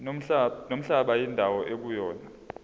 nomhlaba indawo ekuyona